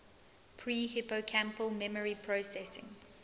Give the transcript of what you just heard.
pre hippocampal memory processing